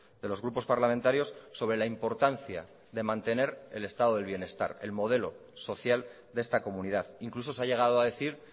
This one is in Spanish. de los grupos parlamentarios sobre la importancia de mantener el estado del bienestar el modelo social de esta comunidad incluso se ha llegado a decir